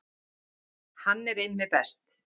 Hann er Immi best.